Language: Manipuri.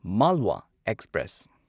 ꯃꯥꯜꯋꯥ ꯑꯦꯛꯁꯄ꯭ꯔꯦꯁ